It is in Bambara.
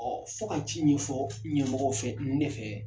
fɔ ka ci min fɔ ɲɛmɔgɔw fɛ ne fɛ.